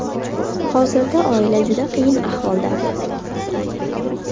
Hozirda oila juda qiyin ahvolda.